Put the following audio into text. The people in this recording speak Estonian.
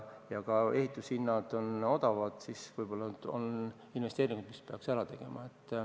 Kui ka ehitushinnad on odavad, siis peaks investeeringud ehk ära tegema.